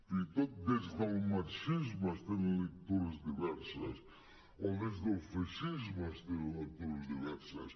fins i tot des del marxisme es tenen lectures diverses o des del feixisme es tenen lectures diverses